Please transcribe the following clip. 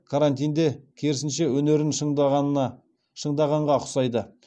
карантинде керісінше өнерін шыңдағанға ұқсайды